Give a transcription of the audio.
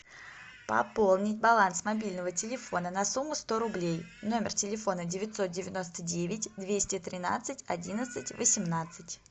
пополнить баланс мобильного телефона на сумму сто рублей номер телефона девятьсот девяносто девять двести тринадцать одиннадцать восемнадцать